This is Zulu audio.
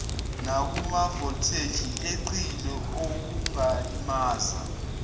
nakumavoltheji eqile okungalimaza